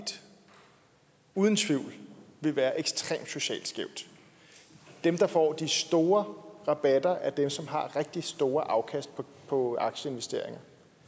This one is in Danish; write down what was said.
uden tvivl vil være ekstremt socialt skæv dem der får de store rabatter er dem som har rigtig store afkast på aktieinvesteringer